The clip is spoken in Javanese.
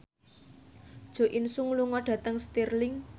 Jo In Sung lunga dhateng Stirling